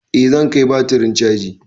Eh zan kai batirin caji.